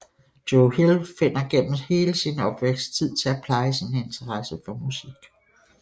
Joe Hill finder gennem hele sin opvækst tid til at pleje sin interesse for musik